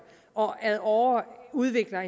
og så ad åre udvikler